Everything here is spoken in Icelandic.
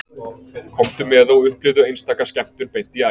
Komdu með og upplifðu einstaka skemmtun beint í æð